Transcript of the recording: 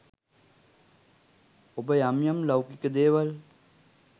ඔබ යම් යම් ලෞකික දේවල්